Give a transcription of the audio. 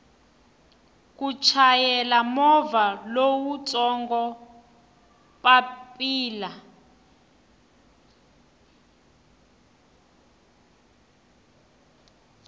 ku chayela movha lowutsongo papila